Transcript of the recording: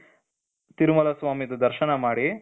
ತಿರುಮಲ ಸ್ವಾಮಿದು ದರ್ಶನ ಮಾಡಿ